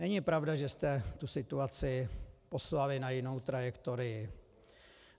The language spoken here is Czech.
Není pravda, že jste tu situaci poslali na jinou trajektorii.